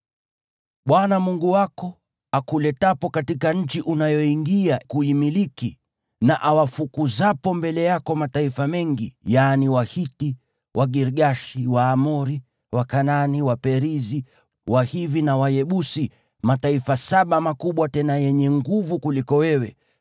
Bwana Mungu wako akuletapo katika nchi unayoingia kuimiliki, na awafukuzapo mbele yako mataifa mengi, yaani Wahiti, Wagirgashi, Waamori, Wakanaani, Waperizi, Wahivi na Wayebusi, mataifa saba makubwa tena yenye nguvu kuliko wewe,